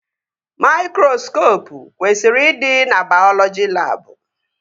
Maikroskopụ kwesịrị ịdị na baiọlọji labụ